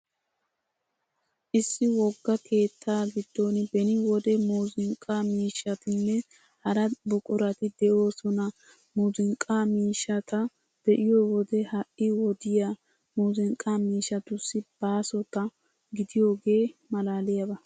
Issi wogaa keettaa giddon beni wode muuzunqqa miishshatinne hara buqurati de'oosona. Muuzunqqa miishshata be'iyo wode ha'i wodiyaa muuzunqqa miishshatussi baasota gidiyoogee malaaliyaaba.